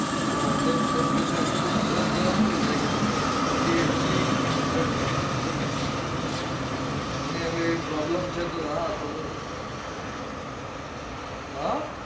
તમારું અદર નું temperature એટલું સરસ ગરમ થઇ જાય કે પછી તમેને એટલી ઠડી effect ન કરે તમને એવી problem છે તો હા હ